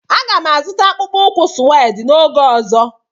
Aga m azụta akpụkpọ ụkwụ sued oge ọzọ.